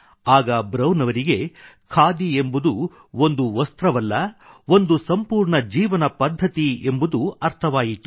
ಆಗ ಬ್ರೌನ್ ಅವರಿಗೆ ಖಾದಿ ಎಂಬುದು ಒಂದು ವಸ್ತ್ರವಲ್ಲ ಒಂದು ಸಂಪೂರ್ಣ ಜೀವನಪದ್ಧತಿ ಎಂಬುದು ಅರ್ಥವಾಯಿತು